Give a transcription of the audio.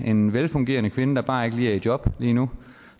en velfungerende kvinde der bare ikke lige er i job nu